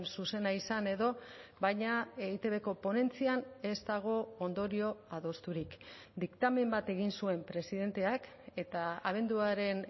zuzena izan edo baina eitbko ponentzian ez dago ondorio adosturik diktamen bat egin zuen presidenteak eta abenduaren